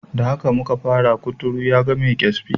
Da haka muka fara, kuturu yaga mai kyasbi.